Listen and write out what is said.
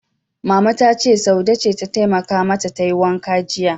Mama ta ce, Saude ce ta taimaka mata tayi wankan jiya.